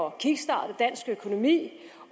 at kickstarte dansk økonomi